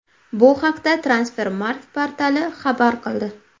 Bu haqda Transfermarkt portali xabar qildi .